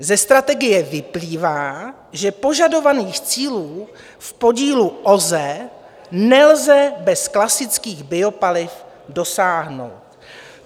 Ze strategie vyplývá, že požadovaných cílů v podílu OZE nelze bez klasických biopaliv dosáhnout.